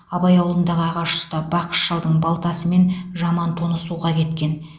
абай ауылындағы ағаш ұста бақыш шалдың балтасы мен жаман тоны суға кеткен